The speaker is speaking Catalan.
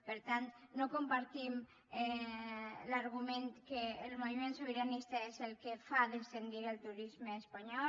per tant no compartim l’argument que el moviment sobiranista és el que fa descendir el turisme espanyol